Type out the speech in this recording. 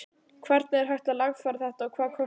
Hvernig er hægt að lagfæra þetta og hvað kostar það?